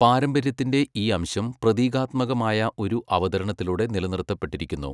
പാരമ്പര്യത്തിൻ്റെ ഈ അംശം പ്രതീകാത്മകമായ ഒരു അവതരണത്തിലൂടെ നിലനിർത്തപ്പെട്ടിരിക്കുന്നു.